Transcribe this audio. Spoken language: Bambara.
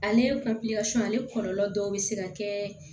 Ale ale kɔlɔlɔ dɔw bɛ se ka kɛ